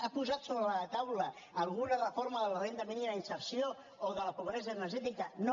ha posat sobre taula alguna reforma de la renda mínima inserció o de la pobresa energètica no